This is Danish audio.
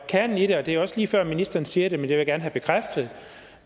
kernen i det og det er også lige før ministeren siger det vil jeg gerne have bekræftet